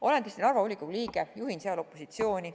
Olen tõesti Narva volikogu liige, juhin seal opositsiooni.